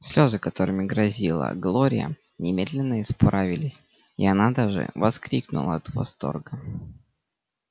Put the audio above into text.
слезы которыми грозила глория немедленно испарились и она даже вскрикнула от восторга